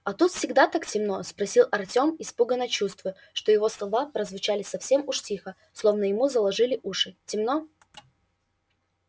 а тут всегда так темно спросил артём испуганно чувствуя что его слова прозвучали совсем уж тихо словно ему заложили уши темно